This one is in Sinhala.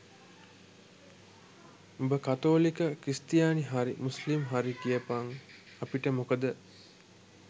උඹ කතෝලික ක්‍රිස්තියානි හරි මුස්ලිම් හරි කියපන් අපිට මොකද?